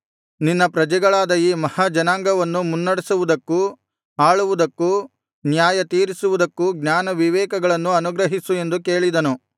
ನಿನ್ನ ಪ್ರಜೆಗಳಾದ ಈ ಮಹಾ ಜನಾಂಗವನ್ನು ಮುನ್ನಡೆಸುವುದಕ್ಕೂ ಆಳುವುದಕ್ಕೂ ನ್ಯಾಯತೀರಿಸುವುದಕ್ಕೂ ಜ್ಞಾನ ವಿವೇಕಗಳನ್ನು ಅನುಗ್ರಹಿಸು ಎಂದು ಕೇಳಿದನು